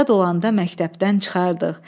Azad olanda məktəbdən çıxardıq.